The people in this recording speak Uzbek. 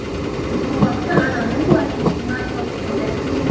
Bu haqda Anadolu agentligi ma’lumot berdi .